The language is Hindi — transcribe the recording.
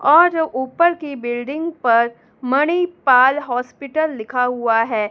और ऊपर की बिल्डिंग पर मणिपाल हॉस्पिटल लिखा हुआ है।